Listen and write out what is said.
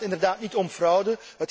Het gaat inderdaad niet om fraude.